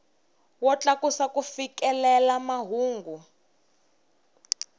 wo tlakusa ku fikelela mahungu